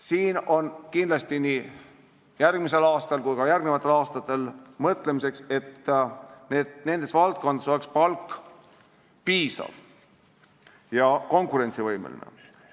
Siin on kindlasti nii järgmisel aastal kui ka järgnevatel aastatel ainet mõtlemiseks – ka nendes valdkondades peaks palk piisav ja konkurentsivõimeline olema.